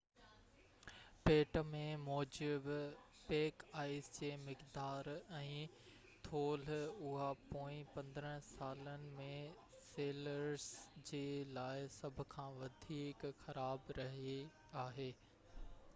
پٽ مين موجب پيڪ آئس جي مقدار ۽ ٿولهہ اهو پوئين 15 سالن ۾ سيلرس جي لاءِ سڀ کان وڌيڪ خراب رهئي آهي